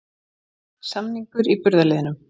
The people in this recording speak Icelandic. Samningur í burðarliðnum